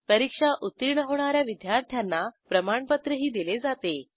परीक्षा उत्तीर्ण होणा या विद्यार्थ्यांना प्रमाणपत्रही दिले जाते